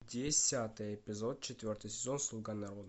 десятый эпизод четвертый сезон слуга народа